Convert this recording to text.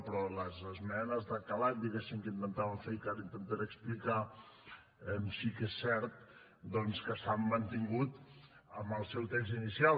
però les esmenes de calat diguéssim que intentaven fer que ara intentaré explicar sí que és cert doncs que s’han mantingut amb el seu text inicial